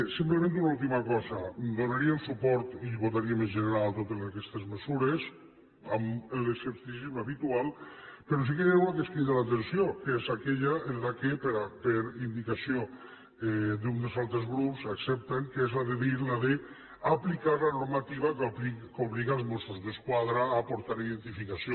simplement una última cosa donaríem suport i vota ríem en general totes aquestes mesures amb l’escepticisme habitual però sí que n’hi ha una que ens crida l’atenció que és aquella que per indicació d’un dels altres grups accepten que és la de dir d’aplicar la normativa que obliga els mossos d’esquadra a portar identificació